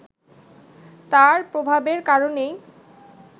তার প্রভাবের কারণেই